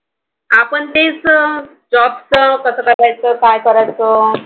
आपण तेच न Job चं कसं करायचं काय, करायचं